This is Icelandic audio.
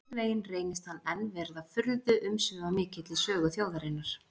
Einhvern veginn reynist hann enn vera furðu-umsvifamikill í sögu þjóðarinnar.